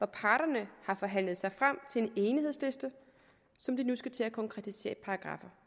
parterne har forhandlet sig frem til en enighedsliste som de nu skal til at konkretisere